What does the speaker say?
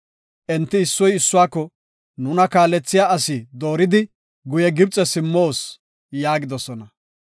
Enti issoy issuwako, “Nuna kaalethiya asi dooridi guye Gibxe simmoos” yaagidosona.